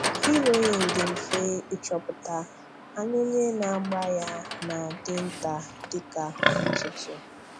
Hẹ̀rọ́ịn dị mfe ịchọ̀pụ̀ta; ànyá onye na-āgbà ya na-adị̀ ntá dị ka ntụ̀tụ̀